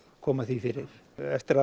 koma því fyrir eftir að